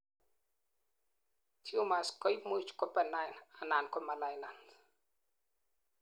tumors koimuch ko benign anan ko malignant